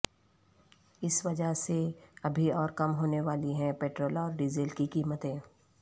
اس وجہ سے ابھی اور کم ہونے والی ہیں پٹرول اور ڈیزل کی قیمتیں